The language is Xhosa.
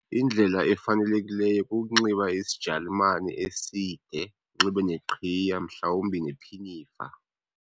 Indlela efanelekileyo kukunxiba isijalumani eside, anxibe neqhiya, mhlawumbi nephinifa.